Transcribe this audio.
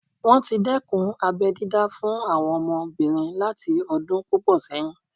Wọ́n tí dẹ́kun abẹ́ dídá fún àwọn ọmọbìnrin láti ọdún púpọ̀ sẹ́yìn